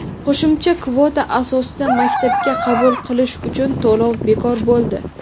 Qo‘shimcha kvota asosida maktabga qabul qilish uchun to‘lov bekor bo‘ldi.